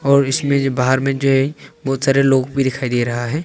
और इसमें जो बाहर में जो है बुहत सारे लोग भी दिखाई दे रहा है।